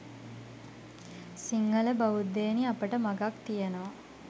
සිංහල බෞද්ධයෙනි අපට මගක් තියෙනවා